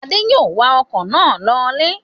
Adé yòó wa ọkọ̀ náà lọ ilé